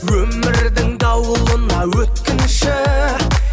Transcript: өмірдің дауылына өткінші